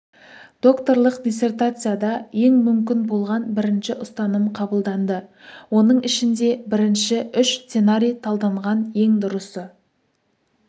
докторлық диссертацияда ең мүмкін болған бірінші ұстаным қабылданды оның ішінде бірінші үш сценарий талданған ең дұрысы